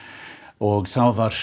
og var